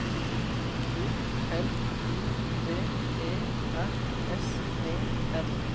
O L I V E R S E N